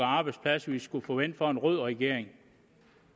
arbejdspladser vi skulle forvente fra en rød regering